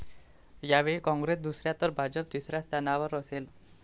यावेळी काँग्रेस दुसऱ्या तर भाजप तिसऱ्या स्थानावर असेल.